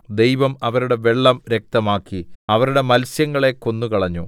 ദൈവം അവരുടെ വെള്ളം രക്തമാക്കി അവരുടെ മത്സ്യങ്ങളെ കൊന്നുകളഞ്ഞു